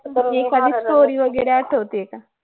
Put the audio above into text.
एखादी story वगैरे आठवते का